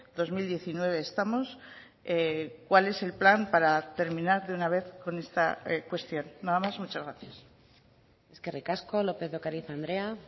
dos mil diecinueve estamos cuál es el plan para terminar de una vez con esta cuestión nada más muchas gracias eskerrik asko lópez de ocariz andrea